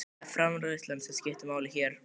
Það er framreiðslan sem skiptir máli hér.